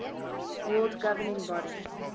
world governing body